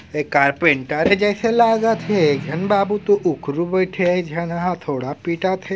ऐ कारपेंटर जइसे लागत हे ऐ बाबू तो उखरु बइठे हे एक जहाँ ह हथोडा पीटत हे ।